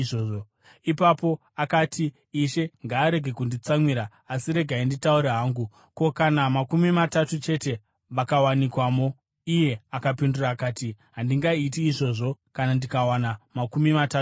Ipapo akati, “Ishe ngaarege kunditsamwira, asi regai nditaure hangu. Ko, kana makumi matatu chete vakawanikwamo?” Iye akapindura akati, “Handingaiti izvozvo kana ndikawana makumi matatu chete.”